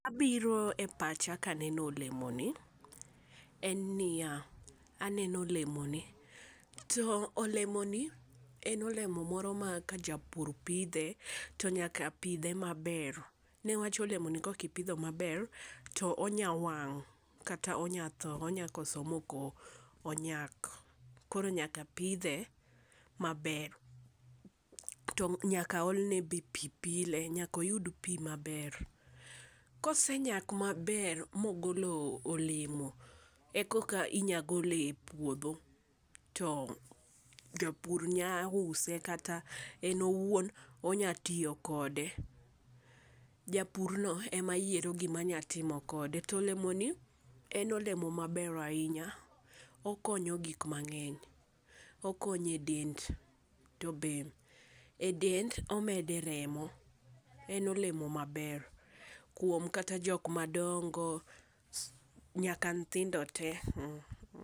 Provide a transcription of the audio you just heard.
Gi ma biro e pacha ka aneno olemo ni en ni ya, aneno olemo ni. To olemoni en olemo moro ma ka japur pidhe to nyaka pidhe ma ber .Ne wach olemo ni kok ipidho ma ber to onya wang' kata onya thoo, onya koso ma ok onyak. Koro nyaka pidhe ma ber to be nyaka ol ne be pi pile nyaka oyud pi ma ber .Kosenyak ma ber ma ogolo olemo e kok a inya gole e puodho to japur nya use kata en owuon inya tiyo kode. Japur no ema yiero gi ma nya timo kode. To olemo en olemo ma ber ainya okonyo gik mangeny , okonyo e dend to e dend to be e dend omedo eremo. En olemo ma ber kuom kata jok ma dongo nyaka kata nyithindo tee.